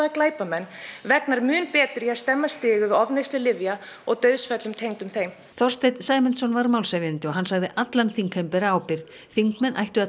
glæpamenn vegnar mun betur í að stemma stigu við ofneyslu lyfja og dauðsföllum tengdum þeim Þorsteinn Sæmundsson var málshefjandi og hann sagði allan þingheim bera ábyrgð þingmenn ættu að